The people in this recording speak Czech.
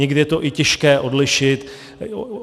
Někdy je to i těžké odlišit.